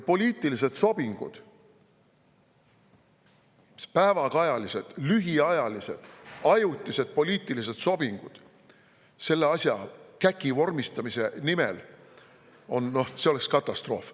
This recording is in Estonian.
Poliitilised sobingud, päevakajalised, lühiajalised, ajutised poliitilised sobingud selle asja, selle käki vormistamise nimel oleks katastroof.